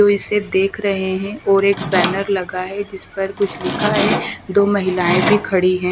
वो इसे देख रहे हैं और एक बैनर लगा है जिस पर कुछ लिखा है दो महिलाएं भी खड़ी है।